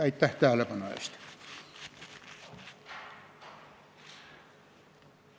Aitäh tähelepanu eest!